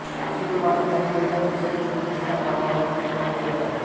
Sulaymaniyah हे Iraq देशाच्या Kurdistan भागामधील एक प्रमुख शहर आहे